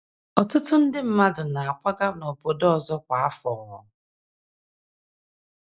ỌTỤTỤ nde mmadụ na - akwaga n’obodo ọzọ kwa afọ.